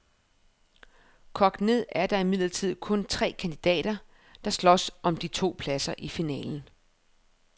Kogt ned er der imidlertid kun tre kandidater, der slås om de to pladser i finalen.